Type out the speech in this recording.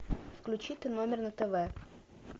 включи т номер на тв